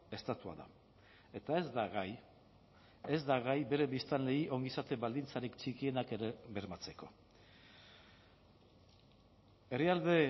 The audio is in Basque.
estatua da eta ez da gai ez da gai bere biztanleei ongizate baldintzarik txikienak ere bermatzeko herrialde